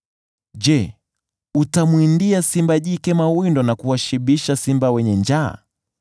“Je, utamwindia simba jike mawindo, na kuwashibisha simba wenye njaa